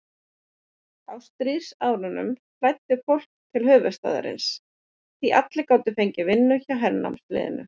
Á stríðsárunum flæddi fólkið til höfuðstaðarins, því allir gátu fengið vinnu hjá hernámsliðinu.